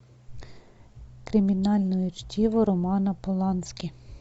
криминальное чтиво романа полански